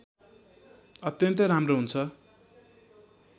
अत्यन्तै राम्रो हुन्छ